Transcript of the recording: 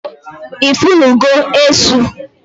I funu go Esu?